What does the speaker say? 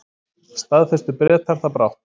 Staðfestu Bretar það brátt.